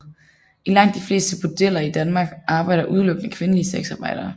I langt de fleste bordeller i Danmark arbejder udelukkende kvindelige sexarbejdere